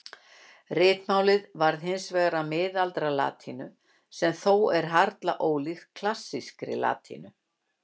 Ritmálið varð hins vegar að miðaldalatínu sem þó er harla ólík klassískri latínu.